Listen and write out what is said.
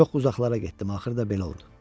Çox uzaqlara getdim, axırda belə oldu.